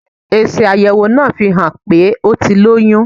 Èsì àyẹ̀wò náà fihàn pé ó ti lóyún.